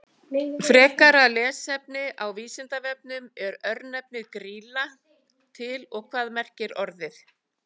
Frekara lesefni á Vísindavefnum: Er örnefnið Grýla til og hvað merkir orðið?